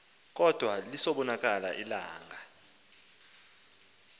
kodwa lisabonakala ilanga